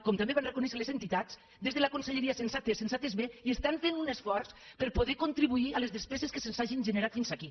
com també van reconèixer les entitats des de la conselleria se’ns ha atès se’ns ha atès bé i fan un esforç per poder contribuir a les despeses que se’ns hagin generat fins aquí